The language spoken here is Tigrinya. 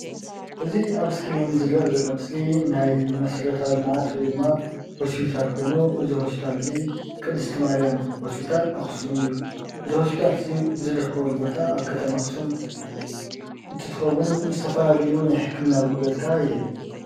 እዚ ኣብ እስክሪን ዝረአ ዘሎ ምስሊ ናይ መሰረታዊ ልምዓት ወይድማ ሆስፒታል ኮይኑ እዚ ሆስፒታል እዙይ ቅድስቲ ማርያም ሆስፒታል ኣክሱም እዩ። እዚ ሆስፒታል እዙይ ዝርከበሉ ቦታ ኣብ ከተማ ኣክሱም እንትትከውን ዝተፈላለዩ ናይ ሕክምና ኣገልግሎት ከዓ ይህብ።